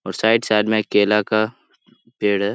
और side side में केला का पेड़ है ।